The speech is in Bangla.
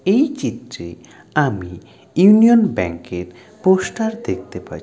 এই চিত্রে আমি ইউনিয়ন ব্যাঙ্ক -এর পোস্টার দেখতে পা--